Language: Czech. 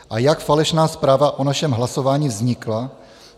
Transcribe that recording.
A jak falešná zpráva o našem hlasování vznikla?